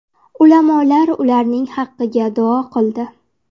Ulamolar ularning haqiga duo qildi.